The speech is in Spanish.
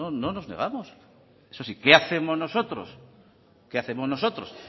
no no nos negamos eso sí qué hacemos nosotros qué hacemos nosotros